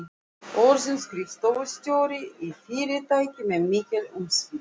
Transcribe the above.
Orðin skrifstofustjóri í fyrirtæki með mikil umsvif.